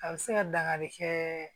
A bɛ se ka dangari kɛ